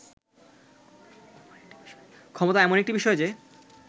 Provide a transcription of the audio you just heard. ক্ষমতা এমন একটি বিষয় যে